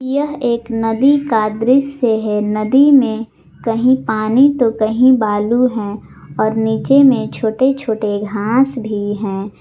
यह एक नदी का दृश्य है नदी में कहीं पानी तो कहीं बालू है और नीचे में छोटे छोटे घास भी हैं।